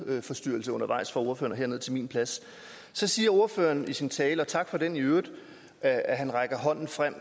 lydforstyrrelse undervejs fra ordføreren herned til min plads så siger ordføreren i sin tale og tak for den i øvrigt at at han rækker hånden frem